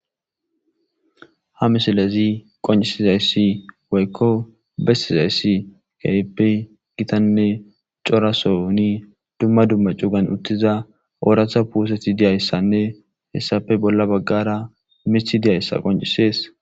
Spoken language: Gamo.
Ha misilezi qoncisizayssi woykko bestizayssi keypi gitanne corasoni dumma dumma cugan uttiza ooratha puuseti diyayssanne hessape bolla baggara mithi diyayssa qoncisees.